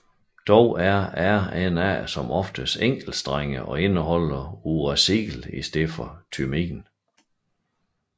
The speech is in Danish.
Dog er RNA som oftest enkeltstrenget og indeholder uracil i stedet for thymin